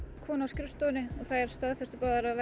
konu á skrifstofunni og þær staðfestu báðar að